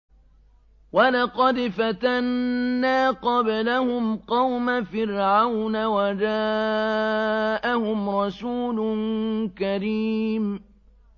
۞ وَلَقَدْ فَتَنَّا قَبْلَهُمْ قَوْمَ فِرْعَوْنَ وَجَاءَهُمْ رَسُولٌ كَرِيمٌ